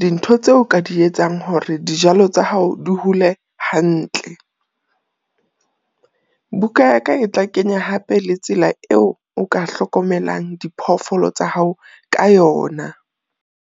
dintho tseo ka di etsang hore dijalo tsa hao di hole hantle. Buka ya ka e tla kenya hape le tsela eo o ka hlokomelang diphoofolo tsa hao ka yona.